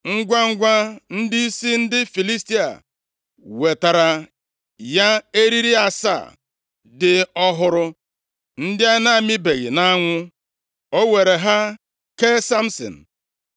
Ngwangwa, ndịisi ndị Filistia wetara ya eriri asaa dị ọhụrụ ndị a na-amịbeghị nʼanwụ, o weere ha kee Samsin.